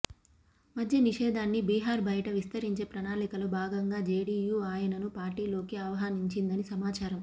మద్యనిషేధాన్ని బిహార్ బయట విస్తరించే ప్రణాళికలో భాగంగా జేడీయూ ఆయనను పార్టీలోకి ఆహ్వానించిందని సమాచారం